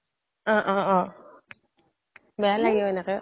অহ অহ অহ বেয়া লাগে এনেকে